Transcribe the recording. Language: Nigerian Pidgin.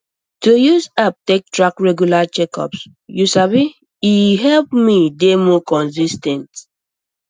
to use app take track regular checkups you sabi e help me dey more consis ten t